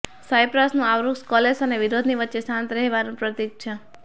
સાઈપ્રસનું આ વૃક્ષ કલેશ અને વિરોધની વચ્ચે શાંત રહેવાનું પ્રતિક છે